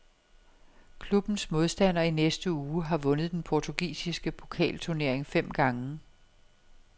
Klubbens modstander i næste uge har vundet den portugisiske pokalturnering fem gange.